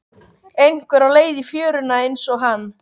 Einhver á leið í fjöruna einsog hann.